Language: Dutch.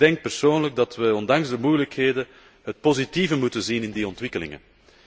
Ik denk persoonlijk dat wij, ondanks de moeilijkheden, het positieve moeten zien in die ontwikkelingen.